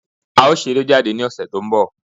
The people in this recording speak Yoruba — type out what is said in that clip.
A ó ṣeré jáde ní ọ̀sẹ̀ tó ń bọ̀.